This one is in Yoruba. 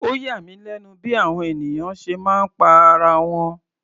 Ó yà mí lẹ́nu bí àwọn ènìyàn ṣe máa ń pa ara wọn.